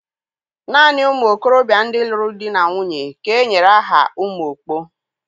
Nanị ụmụ okorobịa ndị lụrụ di na nwunye ka e nyere aha Umuokpo.